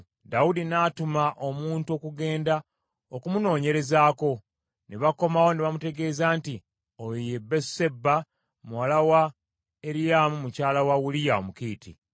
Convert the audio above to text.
Dawudi n’atuma omuntu okugenda okumunoonyerezaako. Ne bakomawo ne bamutegeeza nti, “Oyo ye Basuseba muwala wa Eriyaamu mukyala wa Uliya Omukiiti.”